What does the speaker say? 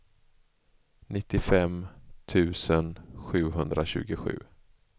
nittiofem tusen sjuhundratjugosju